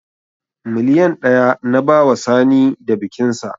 Miliyan ɗaya na bawa Sani da bikinsa